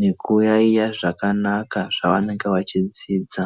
nekuyaiya zvakanaka zvavanenge vachidzidza.